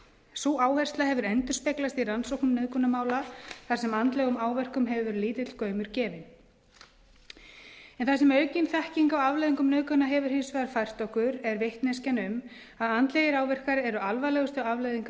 sú áhersla hefur endurspeglast í rannsóknum nauðgunarmála þar sem andlegum áverkum hefur verið lítill gaumur gefinn það sem aukin þekking á afleiðingum nauðgana hefur hins vegar fært okkur er vitneskjan um að andlegir áverkar eru alvarlegustu afleiðingar